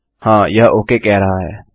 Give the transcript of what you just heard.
हाँ यह ओक कह रहा है